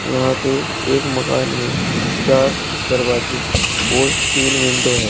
यहां पे एक मकान में चार दरवाजे और तीन विंडो है।